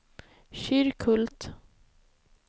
Kyrkhult